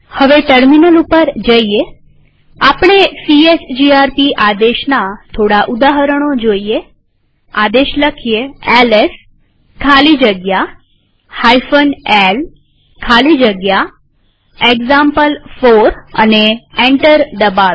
terminal ઉપર જઈએહવે આપણે સીએચજીઆરપી આદેશના થોડાક ઉદાહરણો જોઈએઆદેશ એલએસ ખાલી જગ્યા l ખાલી જગ્યા એક્ઝામ્પલ4 લખીએ અને એન્ટર દબાવીએ